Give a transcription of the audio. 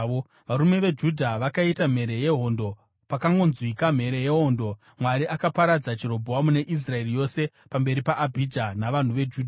varume veJudha vakaita mhere yehondo. Pakangonzwikwa mhere yehondo, Mwari akaparadza Jerobhoamu neIsraeri yose pamberi paAbhija navanhu veJudha.